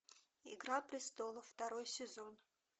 игра престолов второй сезон